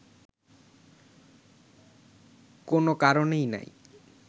কোনও কারণই নাই